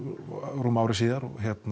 rúmu ári síðar